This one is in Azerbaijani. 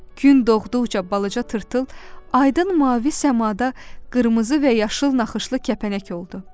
Gün doğduqca balaca tırtıl aydın mavi səmada qırmızı və yaşıl naxışlı kəpənək oldu.